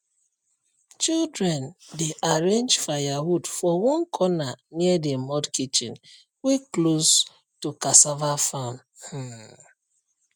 children dey arrange firewood for one corner near the mud kitchen wey close to cassava farm um